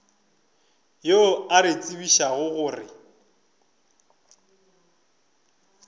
yo a re tsebišago gore